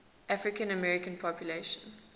african american population